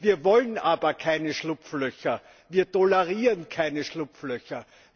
Wir wollen keine Schlupflöcher, wir tolerieren keine Schlupflöcher.